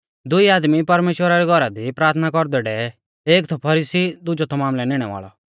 दुई आदमी परमेश्‍वरा रै घौरा दी प्राथना कौरदै डेवै एक थौ फरीसी दुजौ थौ मामलै निणै वाल़ौ